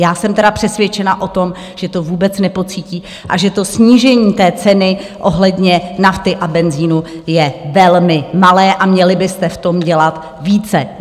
Já jsem teda přesvědčena o tom, že to vůbec nepocítí a že to snížení té ceny ohledně nafty a benzinu je velmi malé a měli byste v tom dělat více.